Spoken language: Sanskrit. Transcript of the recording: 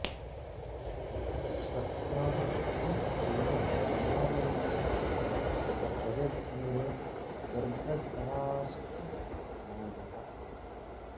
स्वस्थाः सुखं चैव निरामयं च प्रजज्ञिरे गर्भधराश्च नार्यः